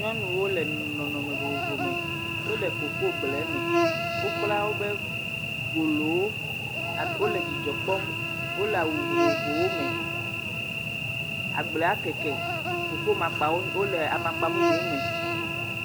Nyɔnuwo le nɔnɔme vovovo me. Wo le kokogble me. Wokpla woƒe golowo ab wole dzidzɔ kpɔm wo le awu vovovowo me. Agblea keke. Koko makpawo wo le amakpa mumu me.